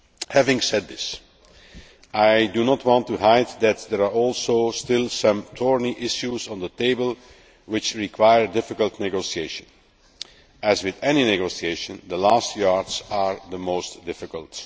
Having said this, I do not want to hide the fact that there are also still some thorny issues on the table which require difficult negotiation. As with any negotiation, the last yards are the most difficult.